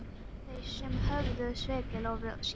Það voru þau sem höfðu svikið loforð sín.